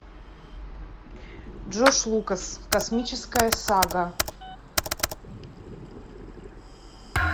джордж лукас космическая сага